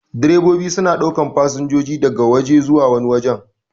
Direbobi suna ɗaukan fasinjoji daga waje zuwa wani wajen.